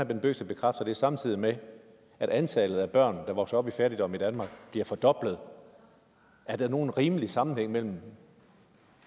bent bøgsted bekræfter det samtidig med at antallet af børn der vokser op i fattigdom i danmark bliver fordoblet er der nogen rimelig sammenhæng imellem